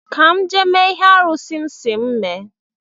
Ka m jee mee ihe arụsị̣ si m mee